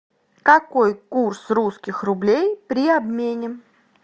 какой курс русских рублей при обмене